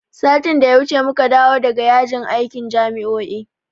Satin da ya wuce muka dawo daga yajin aikin jami'o'i.